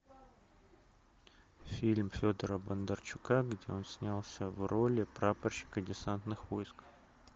фильм федора бондарчука где он снялся в роли прапорщика десантных войск